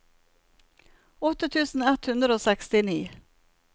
åtte tusen ett hundre og sekstini